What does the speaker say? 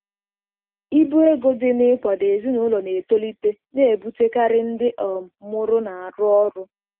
Ibu ego dị na-ịkwado ezinụlọ na-etolite na-ebutekarị ndị um mụrụ na-arụ ọrụ.